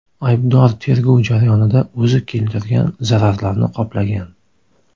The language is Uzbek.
Aybdor tergov jarayonida o‘zi keltirgan zararlarni qoplagan.